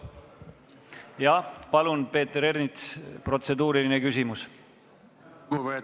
Jah, palun, Peeter Ernits, protseduuriline küsimus!